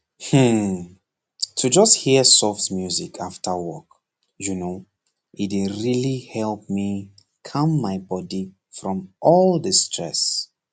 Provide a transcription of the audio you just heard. hmm to just hear soft music after work you know e dey really help me calm my body from all the stress